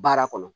Baara kɔnɔ